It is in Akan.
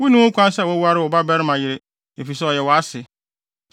“ ‘Wunni ho kwan sɛ woware wo babarima yere, efisɛ ɔyɛ wʼase.